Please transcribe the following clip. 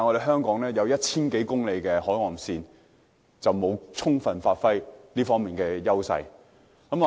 香港擁有 1,000 多公里的海岸線，卻沒有充分發揮這方面的優勢。